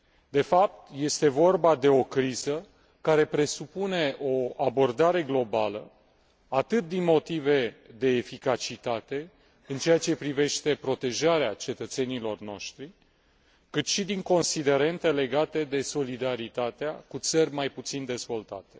De fapt, este vorba de o criză care presupune o abordare globală, atât din motive de eficacitate, în ceea ce privește protejarea cetățenilor noștri, cât și din considerente legate de solidaritatea cu țări mai puțin dezvoltate.